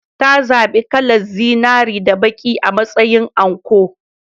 Ta zaɓi kalar zinare da baƙi a matsayin anko.